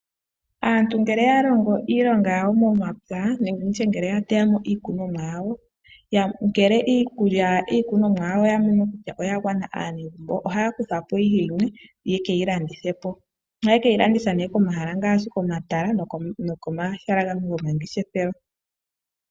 Aantu ngele oya longo iinima yawo momapya nenge nditye ngele ya teyamo iikunomwa yawo ngele oyamono kutya iikunomwa yawo oya gwana aanegumbo ohaya kuthapo ihe yimwe yeke yilandithepo. Ohaa keyilanditha komahala ngaashi komatala nokomahala gamwe gomangeshefelo.